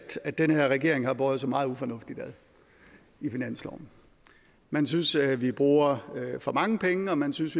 at den her regering har båret sig meget ufornuftigt ad i finansloven man synes at vi bruger for mange penge og man synes